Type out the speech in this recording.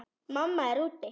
Mamma er úti.